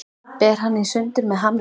Ber hann í sundur með hamri.